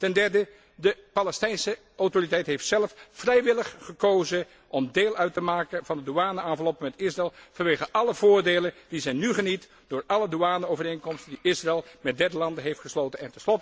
Ten derde de Palestijnse Autoriteit heeft zelf vrijwillig gekozen om deel uit te maken van de douane enveloppe met Israël vanwege alle voordelen die zij nu geniet door alle douane overeenkomsten die Israël met derde landen heeft gesloten.